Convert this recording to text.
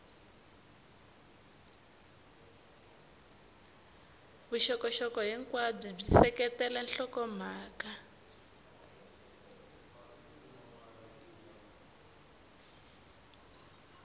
vuxokoxoko hinkwabyo byi seketela nhlokomhaka